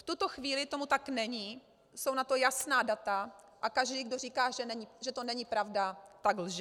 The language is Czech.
V tuto chvíli tomu tak není, jsou na to jasná data a každý, kdo říká, že to není pravda, tak lže.